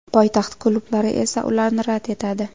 Poytaxt klublari esa ularni rad etadi.